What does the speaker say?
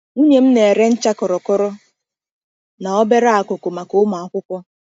Nwunye m na-ere ncha kọrọkọrọ na obere akụkụ maka ụmụ akwụkwọ.